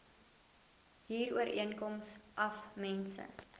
huurooreenkoms af mense